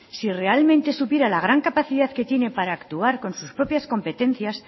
si realmente supiera la gran capacidad que tiene para actuar con sus propias competencias